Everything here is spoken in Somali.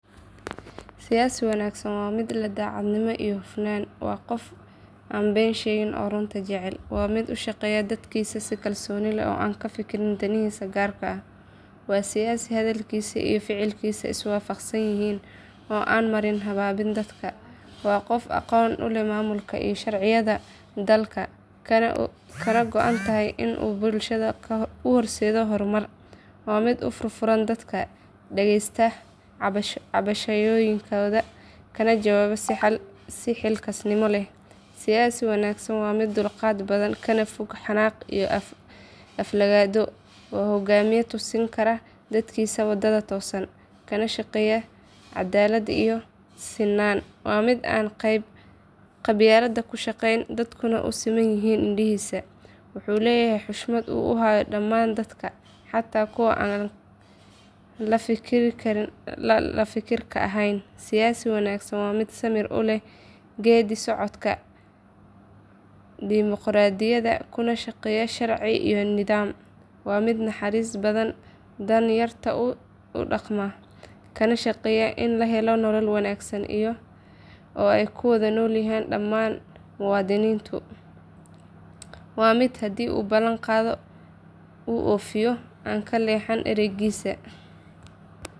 Siyaasi wanaagsan waa mid leh daacadnimo iyo hufnaan, waana qof aan been sheegin oo runta jecel. Waa mid u shaqeeya dadkiisa si kalsooni leh oo aan ka fikirin danihiisa gaarka ah. Waa siyaasi hadalkiisa iyo ficilkiisa is waafaqsan yihiin, oo aan marin habaabin dadka. Waa qof aqoon u leh maamulka iyo sharciyada dalka, kana go’an tahay in uu bulshada u horseedo horumar. Waa mid u furfuran dadka, dhageysta cabashooyinkooda, kana jawaaba si xilkasnimo leh. Siyaasi wanaagsan waa mid dulqaad badan, kana fog xanaaq iyo aflagaado. Waa hogaamiye tusin kara dadkiisa waddada toosan, kana shaqeeya caddaalad iyo sinaan. Waa mid aan qabyaalad ku shaqeyn, dadkuna u siman yihiin indhihiisa. Waxa uu leeyahay xushmad uu u hayo dhammaan dadka, xataa kuwa aan la fikirka ahayn. Siyaasi wanaagsan waa mid samir u leh geeddi-socodka dimoqraadiyadda, kuna shaqeeya sharci iyo nidaam. Waa mid naxariis badan, dan yarta u damqada, kana shaqeeya in la helo nolol wanaagsan oo ay ku wada noolaadaan dhammaan muwaadiniintu. Waa mid haddii uu ballan qaado uu fuliyo, aan ka leexan eraygiisa.